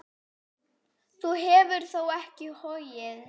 Þú hefur þó ekki hoggið?